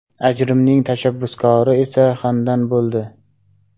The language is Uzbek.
Ajrimning tashabbuskori esa Xandan bo‘ldi.